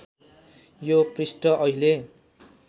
यो पृष्ठ अहिले